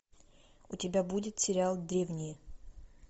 у тебя будет сериал древние